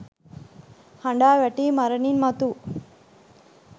හඬා වැටී මරණින් මතු